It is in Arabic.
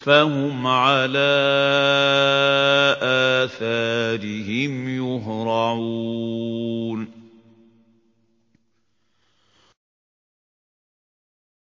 فَهُمْ عَلَىٰ آثَارِهِمْ يُهْرَعُونَ